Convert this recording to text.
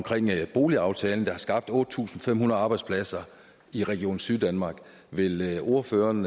boligaftalen der har skabt otte tusind fem hundrede arbejdspladser i region syddanmark vil vil ordføreren